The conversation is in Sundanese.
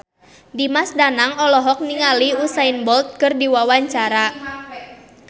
Dimas Danang olohok ningali Usain Bolt keur diwawancara